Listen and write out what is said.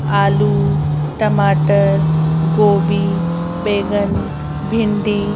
आलू टमाटर गोभी बैंगन भिंडी--